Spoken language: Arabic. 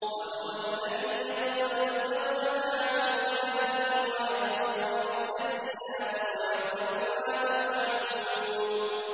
وَهُوَ الَّذِي يَقْبَلُ التَّوْبَةَ عَنْ عِبَادِهِ وَيَعْفُو عَنِ السَّيِّئَاتِ وَيَعْلَمُ مَا تَفْعَلُونَ